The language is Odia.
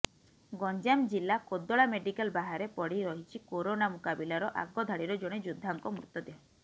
ଗଞ୍ଜାମ ଜିଲ୍ଲା କୋଦଳା ମେଡିକାଲ୍ ବାହାରେ ପଡ଼ି ରହିଛି କରୋନା ମୁକାବିଲାର ଆଗ ଧାଡ଼ିର ଜଣେ ଯୋଦ୍ଧାଙ୍କ ମୃତଦେହ